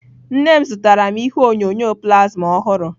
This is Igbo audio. Nne nne m zụtara ihe onyonyo plasma ọhụrụ.